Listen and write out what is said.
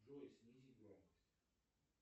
джой снизь громкость